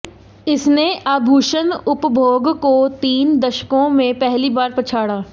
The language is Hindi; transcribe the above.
इसने आभूषण उपभोग को तीन दशकों में पहली बार पछाड़ा